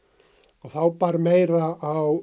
og þá bar meira á